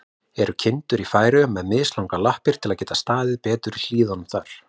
Eru kindur í Færeyjum með mislangar lappir, til að geta staðið betur í hlíðunum þar?